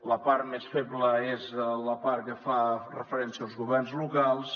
la part més feble és la part que fa referència als governs locals